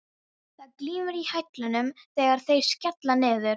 Það glymur í hælunum þegar þeir skella niður.